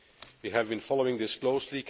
We have been following this closely